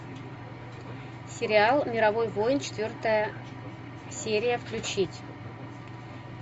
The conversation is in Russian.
сериал мировой воин четвертая серия включить